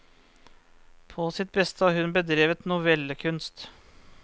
På sitt beste har hun bedrevet novellekunst.